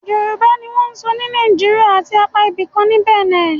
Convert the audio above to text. Yorùbá ni wọ́n ń sọ ní Naijiria àti apá ibìkan ní Bẹ̀nẹ̀